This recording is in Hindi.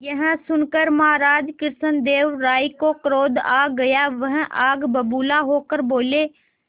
यह सुनकर महाराज कृष्णदेव राय को क्रोध आ गया वह आग बबूला होकर बोले